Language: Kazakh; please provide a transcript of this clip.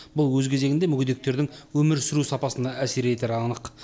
бұл өз кезегінде мүгедектердің өмір сүру сапасына әсер етері анық